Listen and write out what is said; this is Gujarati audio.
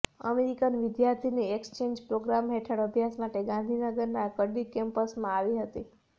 અમેરિકન વિદ્યાર્થિની એક્સચેન્જ પ્રોગ્રામ હેઠળ અભ્યાસ માટે ગાંધીનગરના કડી કેમ્પસમાં આવી હતી